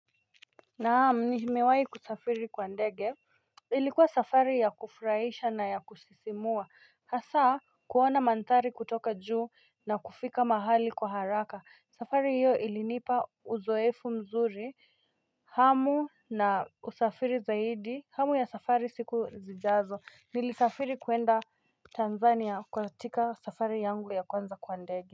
Naam nimewahi kusafiri kwa ndege ilikuwa safari ya kufurahisha na ya kusisimua hasa kuona manthari kutoka juu na kufika mahali kwa haraka safari hiyo ilinipa uzoefu mzuri hamu na usafiri zaidi hamu ya safari siku zijazo nilisafiri kuenda Tanzania kwatika safari yangu ya kwanza kwandege.